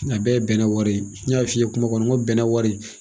A bɛɛ ye bɛnɛ wari ye. N y'a f'i ye kuma kɔnɔ n ko bɛnɛ wari